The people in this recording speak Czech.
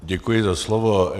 Děkuji za slovo.